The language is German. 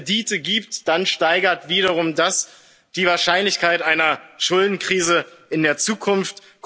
fließen. Wenn es Kredite gibt, dann steigert das wiederum die Wahrscheinlichkeit einer Schuldenkrise